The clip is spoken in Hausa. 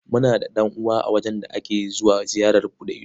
Muna da ɗan'uwa a wajen da ake zuwa ziyarar buɗe ido.